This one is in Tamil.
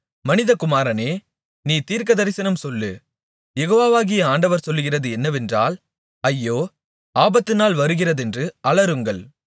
மனிதகுமாரனே நீ தீர்க்கதரிசனம் சொல்லு யெகோவாகிய ஆண்டவர் சொல்லுகிறது என்னவென்றால் ஐயோ ஆபத்துநாள் வருகிறதென்று அலறுங்கள்